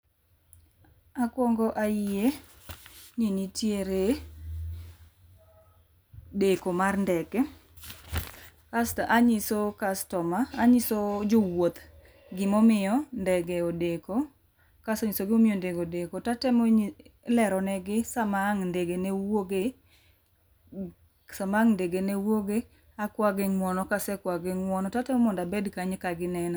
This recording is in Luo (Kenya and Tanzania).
Akuongo ayie ni nitiere deko mar ndege asto anyiso jowuoth gimomiyo ndege odeko kasenyiosogi gimomiyo ndege odeko tatemo leronegi sama ang' ndege newuoge akwagi ng'uono kasekwagi ng'uono tatemo mondo abed kanyo kaginena.